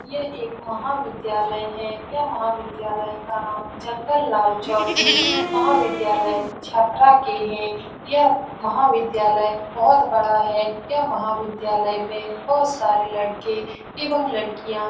यह एक महाविद्यालय है यह महाविद्यालय का नाम जंगल लाल चौधरी महाविद्यालय छपरा के है यह महाविद्यालय बहुत बड़ा है यह महाविद्यालय में बहुत सारे लड़के एवं लड़कियाँ --